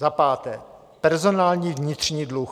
Za páté - personální vnitřní dluh.